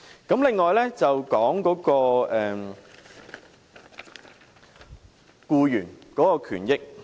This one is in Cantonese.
此外，我想談談僱員權益。